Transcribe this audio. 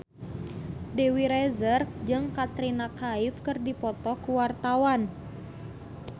Dewi Rezer jeung Katrina Kaif keur dipoto ku wartawan